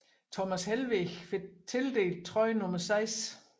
Thomas Helveg fik tildelt trøje nummer 6